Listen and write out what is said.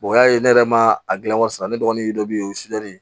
o y'a ye ne yɛrɛ ma a dilan wa sisan ne dɔgɔnin dɔ bɛ yen o